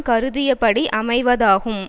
கருதியபடி அமைவதாகும்